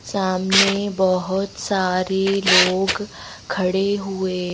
सामने बहुत सारे लोग खड़े हुए--